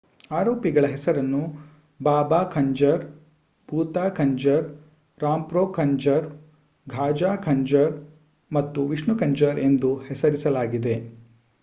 ಆರೋಪಿಗಳ ಹೆಸರನ್ನು ಬಾಬಾ ಖಂಜರ್ ಭೂತಾ ಖಂಜರ್ ರಾಂಪ್ರೊ ಖಂಜರ್ ಗಾಜಾ ಖಂಜರ್ ಮತ್ತು ವಿಷ್ಣು ಖಂಜರ್ ಎಂದು ಹೆಸರಿಸಲಾಗಿದೆ